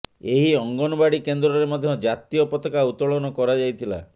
ଏହି ଅଙ୍ଗନବାଡି କେନ୍ଦ୍ରରେ ମଧ୍ୟ ଜାତୀୟ ପତାକା ଉତ୍ତୋଳନ କରାଯାଇଥିଲା